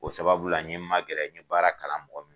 O sababula n ye magɛrɛ n ye baara kalan mɔgɔ